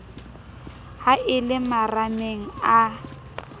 ha e le marameng a